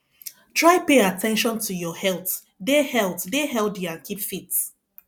try pay at ten tion to your health dey health dey healthy and keep fit